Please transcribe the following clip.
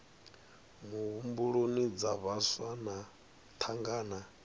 muhumbuloni dza vhaswa na thangana